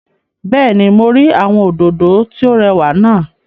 Bẹ́ẹ̀ni, mo rí àwọn òdòdó tí ó rẹwà náà